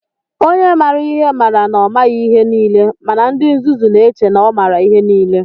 Onye maara ihe mara na ọ maghị ihe niile, mana ndị nzuzu na-eche na ọ maara ihe niile.